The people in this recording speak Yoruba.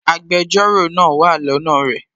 Agbẹjọ́rò náà wà lọ́nà rẹ̀